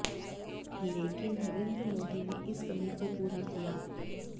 लेकिन नरेन्द्र मोदी ने इस कमी को पूरा किया